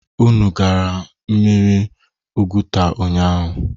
Unu gara mmiri Oguta ụnyaahụ?